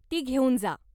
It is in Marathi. ती घेऊन जा.